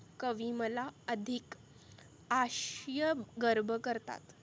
कवी मला अधीक अश्य गर्भ करतात.